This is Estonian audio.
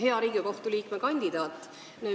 Hea Riigikohtu liikme kandidaat!